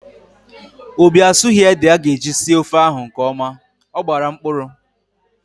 Obi asughi ede aga eji sie ofe ahụ nkeọma, ọ gbara mkpụrụ